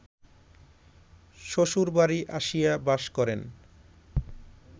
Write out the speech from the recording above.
শ্বশুরবাড়ী আসিয়া বাস করেন